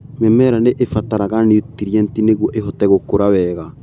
Mĩmera nĩ ibataraga nutrienti nĩguo ĩhote gũkura wega.